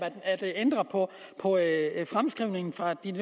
at ændre på fremskrivningen fra en